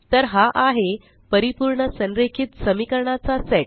तर हा आहे परिपूर्ण संरेखित समीकरणाचा सेट